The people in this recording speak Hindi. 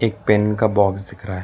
पेन का बॉक्स दिख रहा है।